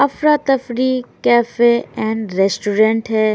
अफरा Tafri cafe and restaurant है।